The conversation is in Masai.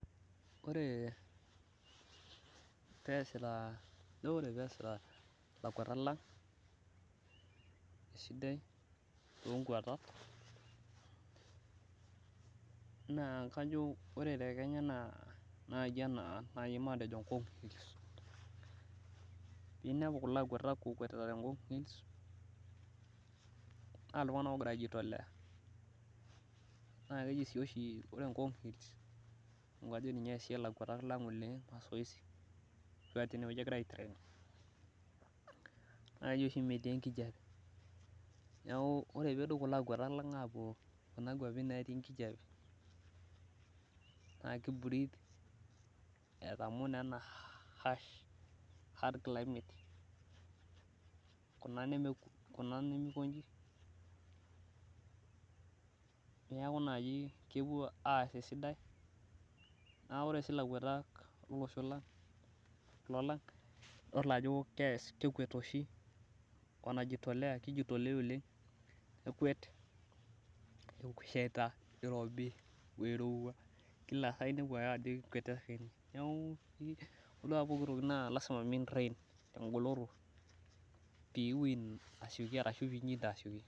Ore pee eesita ilakuatak lang' eisidai toonkuatat naa kajo Ore naai te kenya najo matejo toonkung' ninepu kulo akuatak ookuatita naa iltung'anak ogira aijitolea naa keji oshi metii enkijiape neeku Ore pee epuo kuna kuapi naatii enkijiape naa kibreath etamoo naa ena harsh climate kuna nemikonji neeku naai kepuo aas esidai naa ore sii ilakuatak lolosho lang' idol ajo kekuet oshi kititolea oleng ekuet eshaita o irobi o irowua neeku taduo ake pooki toki naa lazima pee intrain tengoloto pee itum aishinda tesiokinoto.